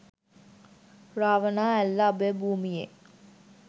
Ravana Ella අභයභූමියෙ